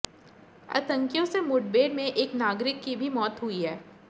आतंकियों से मुठभेड में एक नागरिक की भी मौत हुई है